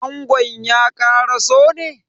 Angon ya karaso ne?